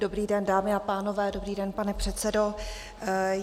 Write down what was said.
Dobrý den, dámy a pánové, dobrý den, pane předsedo.